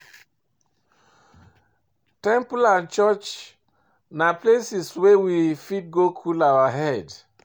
Temple and church na places wey we fit go cool our head